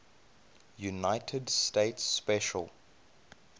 united states special